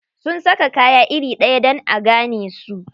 Sun saka kaya iri ɗaya dan a gane su.